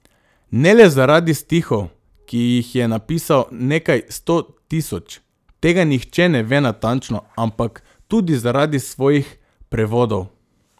Ne le zaradi stihov, ki jih je napisal nekaj sto tisoč, tega nihče ne ve natančno, ampak tudi zaradi svojih prevodov.